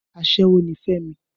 Aṣẹ́wó ni Fẹ́mi